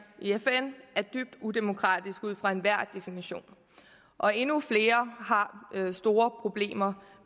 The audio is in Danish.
i fn er dybt udemokratiske ud fra enhver definition og endnu flere har store problemer